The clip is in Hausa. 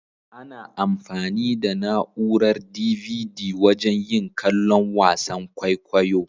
Ana anfani da na'urar "DVD" wajen yin kallon wasan kwaikwayo.